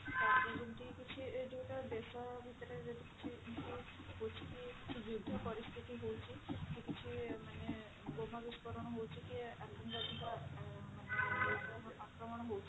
ତାପରେ ଯେମିତି କିଛି ଯୋଉଟା ଦେଶ ଭିତରେ ଯଦି କିଛି ଯୁଦ୍ଧ ପରିସ୍ଥିତି ହଉଛି କି କିଛି ମାନେ ବୋମା ବିସ୍ଫୋରଣ ହଉଛି କି ଆତଙ୍କବାଦୀଙ୍କ ମାନେ ଅ ଆକ୍ରମଣ ହଉଛି